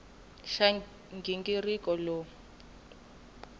xa nghingiriko lowu i ku